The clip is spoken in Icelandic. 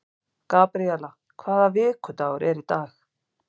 Gabríela, hvaða vikudagur er í dag?